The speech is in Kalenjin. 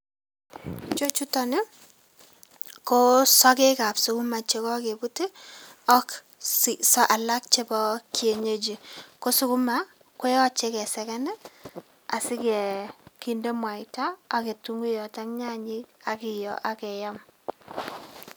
Chu chuton ii, ko sokekab sukuma che kakebut ii ak alak chebo kienyeji. Ko sukuma koyoche keseken ii, asi kinde mwaita ak ketunguiyot ak nyanyik ak keyo ak keyam.